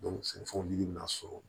sɛnɛfɛnw yiri bɛna sɔrɔ